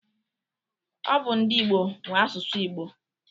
Ọ bụ ndị Igbo nwe asụsụ Igbo.